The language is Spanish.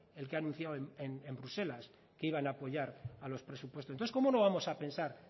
el que ha anunciado en bruselas que iban a apoyar a los presupuestos entonces cómo no vamos a pensar